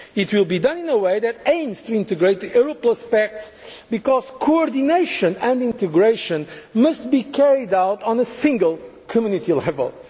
as a whole. It will be done in a way that aims to integrate the Euro Plus Pact, because coordination and integration must be carried out at a single,